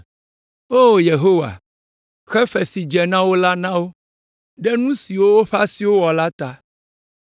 O Yehowa, xe fe si dze wo la na wo, ɖe nu siwo woƒe asiwo wɔ la ta.